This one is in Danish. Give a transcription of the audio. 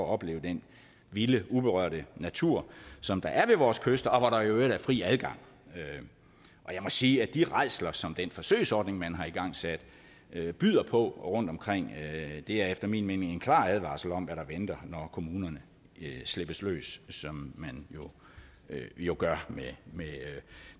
opleve den vilde uberørte natur som der er ved vores kyster og hvor der i øvrigt er fri adgang og jeg må sige at de rædsler som den forsøgsordning man har igangsat byder på rundtomkring efter min mening er en klar advarsel om hvad der venter når kommunerne slippes løs som man jo gør med